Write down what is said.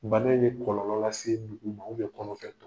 Bana in ye kɔlɔlɔ lase dugu ma kɔnɔ